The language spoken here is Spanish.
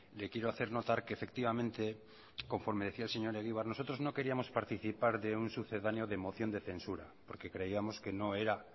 le quiero hacer notar que efectivamente conforme decía el señor egibar nosotros no queríamos participar de un sucedáneo de moción de censura porque creíamos que no era